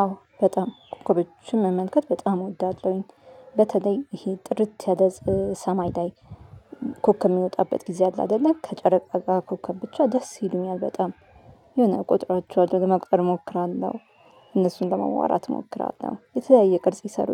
አዎ በጣም ኮከቦችን መመልከት በጣም እወዳለሁኝ። በተለይ ይሄ ጥርት ያለ ሰማይ ላይ። ኮከብ የሚወጣበት ጊዜ አለ አይደለ ከጨረቃ ጋር ኮከብ ብቻ ደስ ይሉኛል በጣም። የሆነ እቆጥራቸዋለሁ ለመቁጠር እሞክራለሁ። እነሱን ለማዋራት እሞክራለሁ የተለያየ ቅርጽ ይሰሩ።